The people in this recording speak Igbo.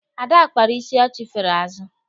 Ada kpara isi achifere azụ.